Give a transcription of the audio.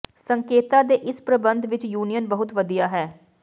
ਸੰਕੇਤਾਂ ਦੇ ਇਸ ਪ੍ਰਬੰਧ ਵਿਚ ਯੂਨੀਅਨ ਬਹੁਤ ਵਧੀਆ ਹੈ